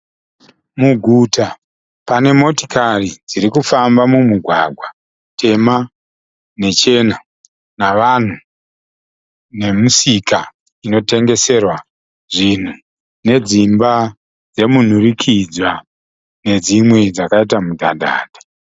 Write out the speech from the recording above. Muguta panemotioari dzirikufamba mumugwagwa tema nechena. Navanhu nemisika inotengeserwa zvinhu nedzimba dzemunhurikidzwa nedzimwe dzakaita mudhadhadha.